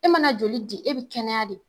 E mana joli di ,e bi kɛnɛya de.